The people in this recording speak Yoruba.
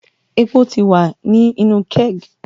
Epo ti wa ni inu keg